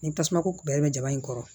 Ni tasumako bɛlen bɛ jaba in kɔrɔ